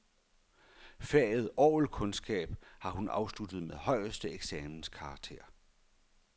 Faget orgelkundskab har hun afsluttet med højeste eksamenskarakter.